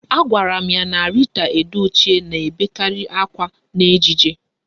Agwara m ya na Rita Edochie na-ebekarị akwa n'ejije